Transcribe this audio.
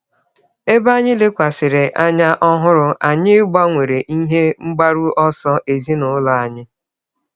Ebe anyị lekwasịrị anya ọhụrụ, anyị gbanwere ihe mgbaru ọsọ ezinụlọ anyị.